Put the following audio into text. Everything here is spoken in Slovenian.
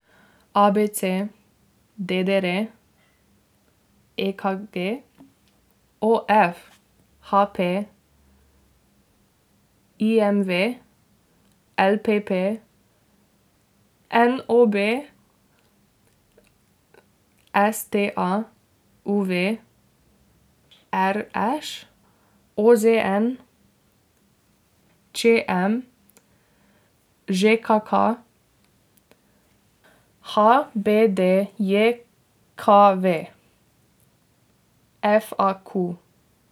A B C; D D R; E K G; O F; H P; I M V; L P P; N O B; S T A; U V; R Š; O Z N; Č M; Ž K K; H B D J K V; F A Q.